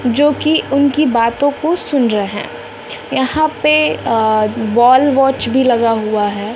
जोकि उनकी बातों को सुन रहे यहां पे अ वॉल वॉच भी लगा हुआ है।